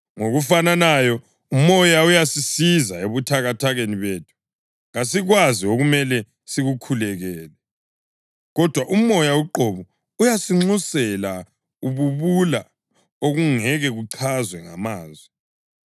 Ngokufananayo, uMoya uyasisiza ebuthakathakeni bethu. Kasikwazi okumele sikukhulekele, kodwa uMoya uqobo uyasinxusela ububula okungeke kuchazwe ngamazwi.